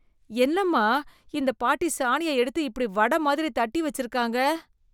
என்னம்மா! இந்த பாட்டி சாணியை எடுத்து இப்படி வட மாதிரி தட்டி வச்சிருக்காங்க?